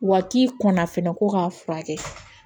Wa k'i kɔnna fɛnɛ ko k'a furakɛ